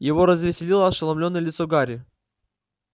его развеселило ошеломлённое лицо гарри